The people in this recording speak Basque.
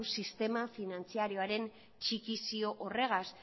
sistema finantzarioren txikizio horrekin